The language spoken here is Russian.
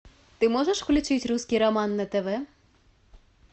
ты можешь включить русский роман на тв